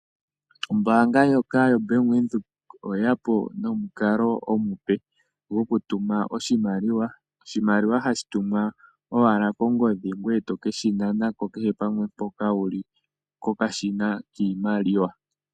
Ombaanga ndyoka yoBank Windhoek, oyeya po nomukalo omupe gwokutuma oshimaliwa. Oshimaliwa ohashi tumwa owala kongodhi, ngoye toke shi nanako kehe pamwe mpoka wuli, kokashina kiimaliwa.